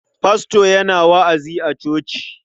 Fasto yana wa'azi a coci.